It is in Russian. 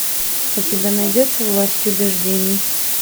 у тебя найдется власть убеждений